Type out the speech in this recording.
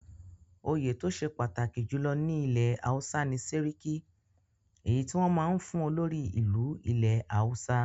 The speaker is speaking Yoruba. Òye tó ṣe pàtàkì jùlọ ní ilẹ̀ Hausa ni Séríkí èyí tí wọn máa ń fún olórí ìlú ilẹ̀ Hausa.